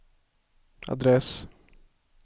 adress